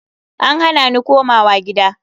An hana ni komawa gida.